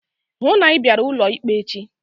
Hụụ na Ị bịara ụlọ ikpe echi!